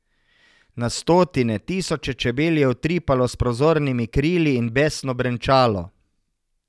Na stotine, tisoče čebel je utripalo s prozornimi krili in besno brenčalo.